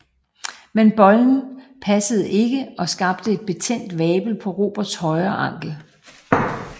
Men bøjlen passede ikke og skabte en betændt vabel på Roberts højre ankel